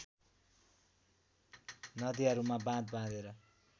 नदीहरूमा बाँध बाँधेर